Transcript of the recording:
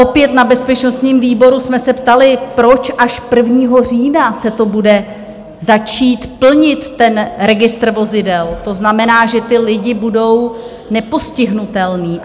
Opět na bezpečnostním výboru jsme se ptali, proč až 1. října se to bude začít plnit ten registr vozidel, to znamená, že ti lidé budou nepostihnutelní?